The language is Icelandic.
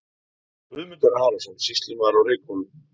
Guðmundur Arason, sýslumaður á Reykhólum.